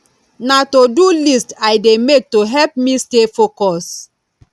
na todo list i dey make to help me stay focused